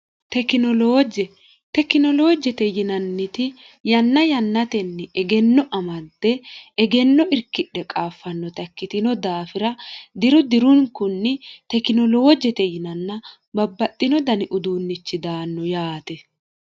tekioloojje tekinoloojjete yinanniti yanna yannatenni egenno amadde egenno irkidhe qaaffannota ikkitino daafira diru dirunkunni tekinolowojjete yinanna babbaxxino dani uduunnichi daanno yaate